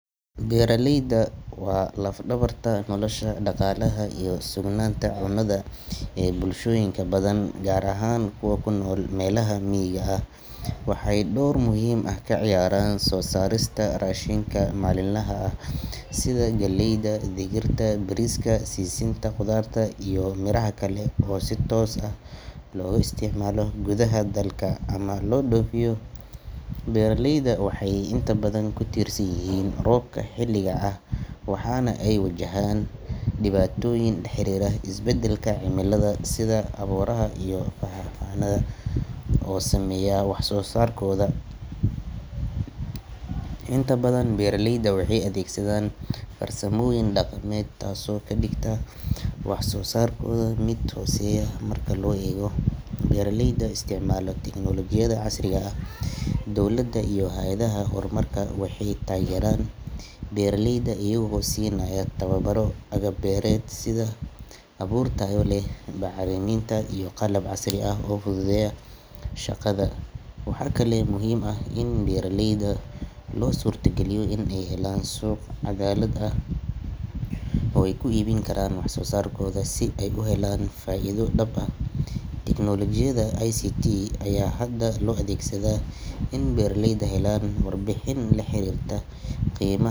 Beeraleyda waa laf-dhabarta nolosha dhaqaalaha iyo sugnaanta cunnada ee bulshooyinka badan, gaar ahaan kuwa ku nool meelaha miyiga ah. Waxay door muhiim ah ka ciyaaraan soo saarista raashinka maalinlaha ah sida galleyda, digirta, bariiska, sisinta, khudaarta iyo miraha kale oo si toos ah loogu isticmaalo gudaha dalka ama loo dhoofiyo. Beeraleydu waxay inta badan ku tiirsan yihiin roobka xilliga ah, waxaana ay wajahaan dhibaatooyin la xiriira isbeddelka cimilada, sida abaaraha iyo fatahaadaha oo saameeya wax-soo-saarkooda. Inta badan beeraleydu waxay adeegsadaan farsamooyin dhaqameed, taasoo ka dhigta wax-soo-saarkooda mid hooseeya marka loo eego beeraleyda isticmaala tiknoolajiyadda casriga ah. Dowladda iyo hay’adaha horumarka waxay taageeraan beeraleyda iyagoo siinaya tababaro, agab beereed sida abuur tayo leh, bacriminta, iyo qalab casri ah oo fududeeya shaqada. Waxaa kaloo muhiim ah in beeraleyda loo suurtogeliyo inay helaan suuq cadaalad ah oo ay ku iibin karaan wax soo saarkooda si ay u helaan faa’iido dhab ah. Tiknoolajiyadda ICT ayaa hadda loo adeegsadaa in beeraleydu helaan warbixin la xiriirta qiimaha.